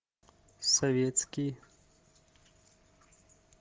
советский